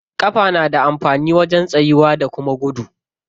Ƙafa na da amfani wajen tsayuwa da kuma gudu.